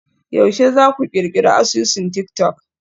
Yaushe za ku ƙirƙiri asusun tik-tok?